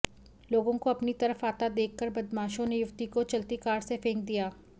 लोगों को अपनी तरफ आता देखकर बदमाशों ने युवती को चलती कार से फेंक दिया